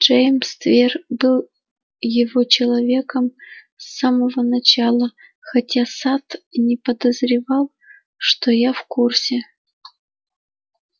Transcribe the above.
джеймс твер был его человеком с самого начала хотя сатт и не подозревал что я в курсе